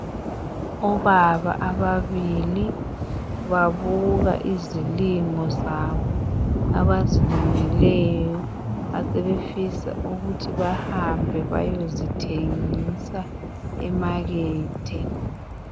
Obaba ababili babuka izilimo zabo abazilimileyo asebefisa ukuthi bahambe beyezithengisa emakethe.